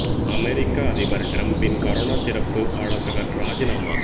அமெரிக்க அதிபர் டிரம்பின் கரோனா சிறப்பு ஆலோசகர் ராஜினாமா